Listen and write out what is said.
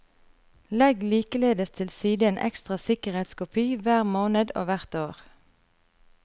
Legg likeledes til side en ekstra sikkerhetskopi hver måned og hvert år.